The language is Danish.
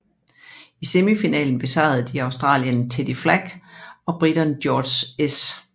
I semifinalen besejrede de australieren Teddy Flack og briten George S